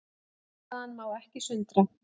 Niðurstaðan má ekki sundra